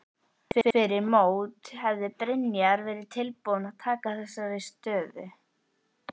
Fyrir mót hefði Brynjar verið tilbúinn að taka þessari stöðu?